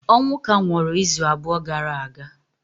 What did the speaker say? Onwuka nwụrụ izu abụọ gara aga